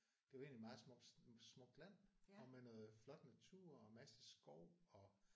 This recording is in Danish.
Det var egentlig meget smukt smukt land og med noget flot natur og masse skov og